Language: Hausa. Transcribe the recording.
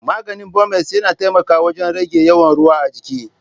Maganin Bumez yana taimakawa wajen rage yawan ruwa a jiki.